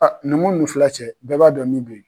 A numu ni fila cɛ bɛɛ b'a dɔn min bɛ yen.